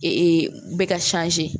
Ee bɛ ka